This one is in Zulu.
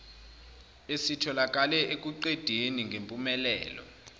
esitholakale ekuqedeni ngempumelelo